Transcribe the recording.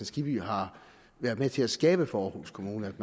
skibby har været med til at skabe for aarhus kommune at